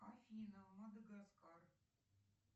афина мадагаскар